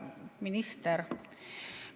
Minister!